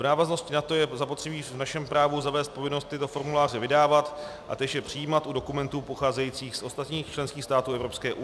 V návaznosti na to je zapotřebí v našem právu zavést povinnost tyto formuláře vydávat a též je přijímat u dokumentů pocházejících z ostatních členských států EU.